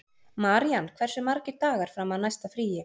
Marían, hversu margir dagar fram að næsta fríi?